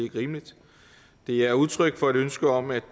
er rimeligt det er udtryk for et ønske om at